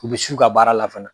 U bɛ s'u ka baara la fana.